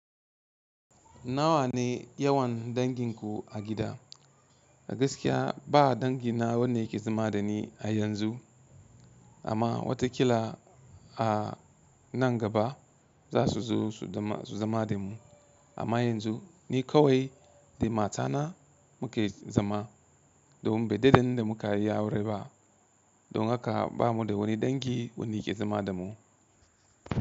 Nawa ne yawan danginku a gida? Gaskiya ba dangi na wande ke zama da ni a yanzu amma watakila a nan gaba za su zo su zama de mu. Amma yanzu ni kawai da matana muke zama domin bai da ɗan da muka yi aure ba don haka bamu da wani dangi wani ke zama da mu.